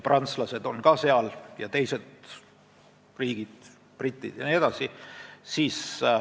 Seal on ka prantslased ja teiste riikide esindajad, britid jne.